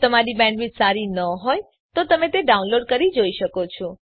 જો તમારી બેન્ડવિડ્થ સારી ન હોય તો તમે ડાઉનલોડ કરી તે જોઈ શકો છો